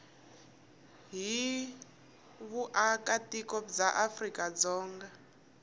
hi vuakatiko bya afrika dzonga